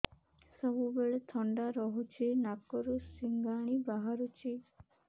ସବୁବେଳେ ଥଣ୍ଡା ରହୁଛି ନାକରୁ ସିଙ୍ଗାଣି ବାହାରୁଚି